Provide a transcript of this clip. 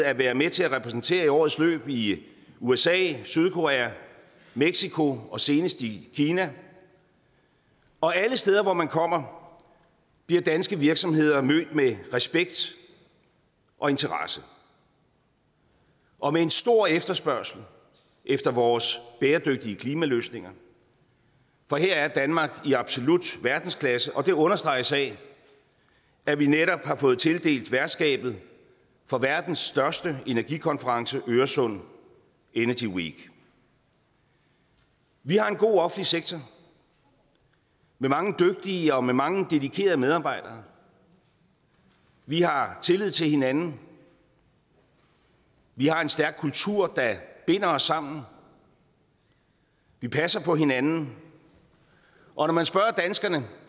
at være med til at repræsentere i årets løb i usa sydkorea mexico og senest i kina og alle steder hvor man kommer bliver danske virksomheder mødt med respekt og interesse og med en stor efterspørgsel efter vores bæredygtige klimaløsninger for her er danmark i absolut verdensklasse og det understreges af at vi netop har fået tildelt værtskabet for verdens største energikonference øresund energy week vi har en god offentlig sektor med mange dygtige og mange dedikerede medarbejdere vi har tillid til hinanden vi har en stærk kultur der binder os sammen vi passer på hinanden og når man spørger danskerne